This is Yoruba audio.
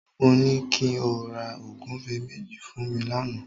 Mo ní kí o ra ògúfe méjì fún mi lánàá